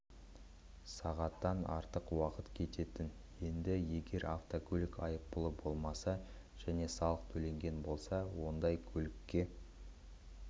сағаттан артық уақыт кететін енді егер автокөлік айыппұлы болмаса және салық төленген болса ондай көлікке